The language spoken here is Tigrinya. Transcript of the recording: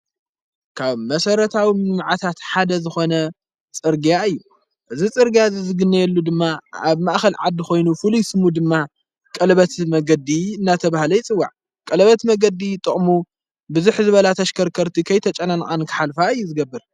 ካብ መሠረታዊ መዓታት ሓደ ዝኾነ ጽርግያ እዩ እዝ ጽርጋያ ዝዝግነየሉ ድማ ኣብ ማእኸል ዓዲ ኾይኑ ፍሉ ይስሙ ድማ ቀልበት መገዲ እናተ ብሃለኣይጽዋዕ ቀለበት መገዲ ጥቕሙ ብዙኅ ዝበላተኣሽከርከርቲ ኸይተጨናንን ክኃልፋ እዩ ዝገብር እዩ።